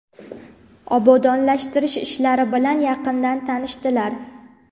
obodonlashtirish ishlari bilan yaqindan tanishdilar.